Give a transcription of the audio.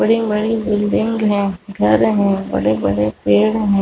--बड़े-बड़े बिल्डिंग है घर है बड़े-बड़े पेड़ है।